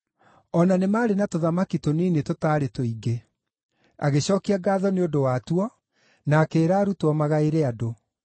O na nĩ maarĩ na tũthamaki tũnini tũtarĩ tũingĩ; agĩcookia ngaatho nĩ ũndũ watuo, na akĩĩra arutwo magaĩre andũ.